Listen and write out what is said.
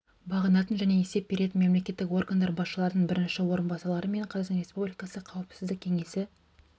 бағынатын және есеп беретін мемлекеттік органдар басшыларының бірінші орынбасарлары мен қазақстан республикасы қауіпсіздік кеңесі